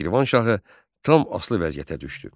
Şirvanşahı tam asılı vəziyyətə düşdü.